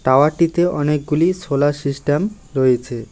টাওয়ারটিতে অনেকগুলি solar system রয়েছে।